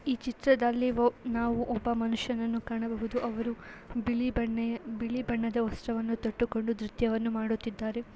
ಈ ಚಿತ್ರದಲ್ಲಿ ಒ ನಾವು ಒಬ್ಬ ಮನುಷ್ಯನನ್ನು ಕಾಣಬಹುದು ಅವರು ಬಿಳಿ ಬಣ್ಣೆ ಬಿಳಿಬಣ್ಣದ ವಸ್ತ್ರವನ್ನು ತೊಟ್ಟುಕೊಂಡು ನೃತ್ಯವನ್ನು ಮಾಡುತ್ತಿದ್ದಾರೆ.